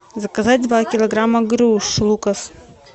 заказать два килограмма груш лукас